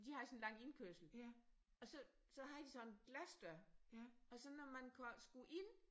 De havde sådan en lang indkørsel og så så havde de sådan en glasdør og så når man skulle ind